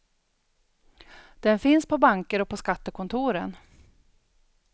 Den finns på banker och på skattekontoren.